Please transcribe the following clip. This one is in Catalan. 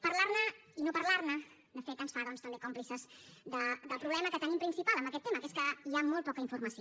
parlar ne i no parlar ne de fet ens fa doncs també còmplices del problema que tenim principal en aquest tema que és que hi ha molt poca informació